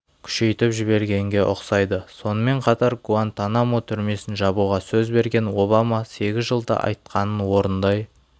күшейтіп жібергенге ұқсайды сонымен қатар гуантанамо түрмесін жабуға сөз берген обама сегіз жылда айтқанын орындай